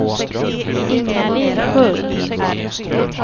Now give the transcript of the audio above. Inga-Lill Sköld